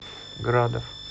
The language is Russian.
градов